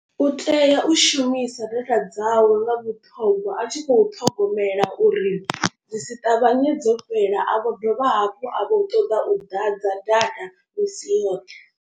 U tea u shumisa data dzawe nga vhuṱhongwa a tshi khou ṱhogomela uri dzi si ṱavhanye dzo fhela. A vho dovha hafhu a vho ṱoḓa u ḓadza data misi yoṱhe.